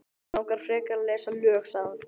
Mig langar frekar að lesa lög, sagði hann.